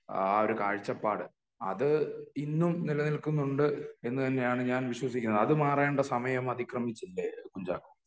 ആ ഒരു കാഴ്ചപ്പാട് അത് ഇന്നും നില നിൽക്കുന്നുണ്ട് എന്ന് തന്നെയാണ് ഞാൻ വിശ്വസിക്കുന്നത് അത് മാറാനുള്ള സമയം അതിക്രമിച്ചില്ലേ കുഞ്ചാക്കൊ